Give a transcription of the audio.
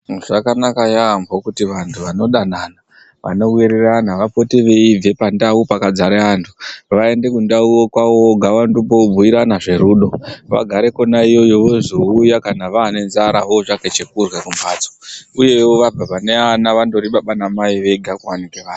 Zvakanaka yaemho kuti vantu vanodanana vanowirirana vapote veibve pandau vantu vaende kundau kwawo voga, vaende kobhuirana zverudo. Vagare kwona iyoyo vozouya kana vaane ngenzara votsvaka chekurya pamhatso uyewo vabve pane ana vandori baba namai vega kwavanenge ari.